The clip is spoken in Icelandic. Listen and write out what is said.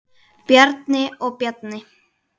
Bjarni og Bjarni